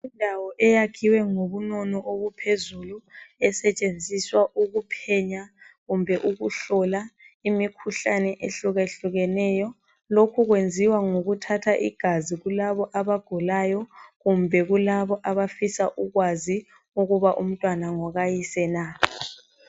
Indawo eyakhiweyo ngobunono obuphezulu esentshenziswa ukuphenya kumbe ukuhlola imikhuhlane ehlukehlukeneyo lokhu kwenziwa ngokuthatha igazi kulabo abagulayo kumbe kulabo abafisa ukwazi ukuthi umntwana ngokayise na.